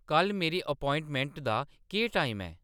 कल्ल मेरी अपोआइंमैंट दा केह् टाइम ऐ